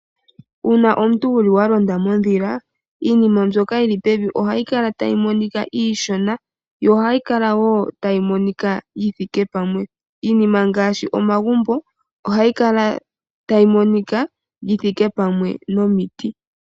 Uuna omuntu wuli walonda mondhila , iinima mbyoka yili pevi ohayi kala tayi monika iishona , yo ohayi kala woo tayi monika yithike pamwe . Iinima ngaashi omagumbo ohayi kala tayi monika yithike pamwe nomiti.